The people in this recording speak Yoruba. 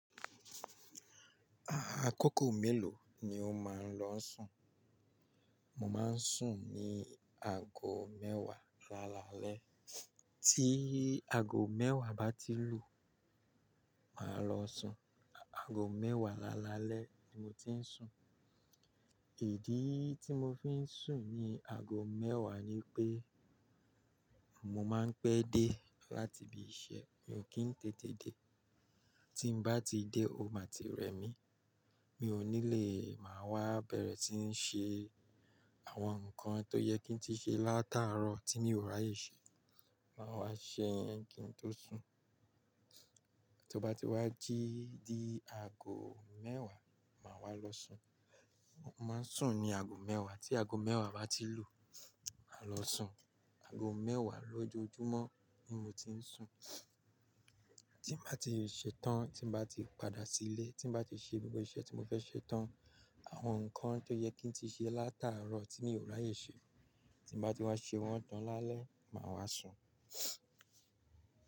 A-a kókò mélòó ni o máa ń lọ sùn? Mo máa ń sùn ní ago mẹ́wàá lálalẹ́. Tí ago mẹ́wàá bá ti lù, màá lọ sùn. Ago mẹ́wàá lálalẹ́ ni mo ti ń sùn. Ìdí tí mo fi ń sùn ní ago mẹ́wàá ni pé, mo máa ń pẹ́ dé láti ibi iṣẹ́, mi ò kí ń tètè dé, tí n bá ti dé, o máa ti rẹ mí, mi ò ní le máa wá bẹ̀rẹ̀ tí ń ṣe àwọn nǹkan tó yẹ kí n tí ṣe látàárọ̀ tí mi ò ráyè ṣe, màá wá ṣe yẹ́n kí n tó sùn. To bá ti wá jí di ago mẹ́wàá, màá wá lọ sùn. Mo máa ń sùn ní ago mẹ́wàá, tí ago mẹ́wàá bá ti lù, màá lọ sùn. Ago mẹ́wàá lójoojúmọ́ ni mo ti ń sùn. Tí n bá ti ṣe tán, tí n bá ti padà sílé, tí n bá ti ṣe gbogbo iṣẹ́ tí mo fẹ́ ṣe tán, àwọn nǹkan tó yẹ kí n tí ṣe látàárọ̀ tí mi ò ráyè ṣe, tí n bá ti wá ṣe wọ́n tán lálẹ́, màá wá sùn.